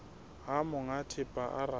ha monga thepa a rata